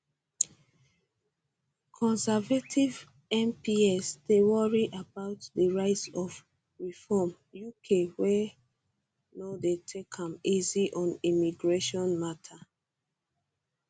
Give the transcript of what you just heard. conservative mps dey worry about di rise of reform uk wey no dey take am easy on immigration mata